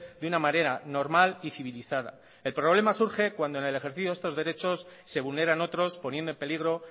de una manera normal y civilizada el problema surge cuando en el ejercicio de estos derecho se vulneran otros poniendo en peligro